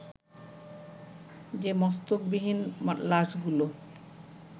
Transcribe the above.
যে মস্তকবিহীন লাশগুলো